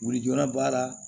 Wulijura b'a la